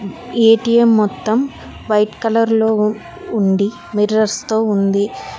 ATM మొత్తం white colour లో ఉంది మిర్రర్స్ తో ఉంది.